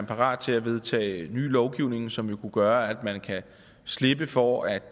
parat til at vedtage en ny lovgivning som jo kunne gøre at man kan slippe for at